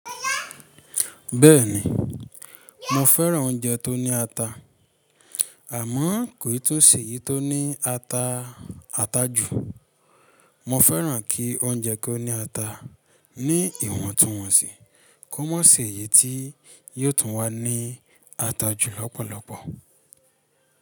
Bẹ́ẹ̀ni mo fẹ́ràn oúnjẹ tó ní ata, àmọ́ kò i tún sèyí tó ní ata àtajù. Mo fẹ́ràn kí oúnjẹ kó ní ata ní ìwọ̀ntúnwọ̀nsì kó mó sè èyí tí yóò tún wá ní ata jù lọ́pọ̀lọpọ̀.